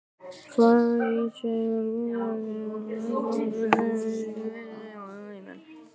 Farið verður ítarlega yfir lokaumferðina í Landsbankadeildinni og tekið viðtöl við þjálfara og leikmenn.